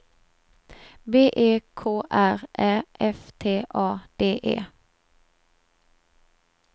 B E K R Ä F T A D E